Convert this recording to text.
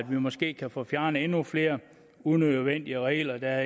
måske kan få fjernet endnu flere unødvendige regler der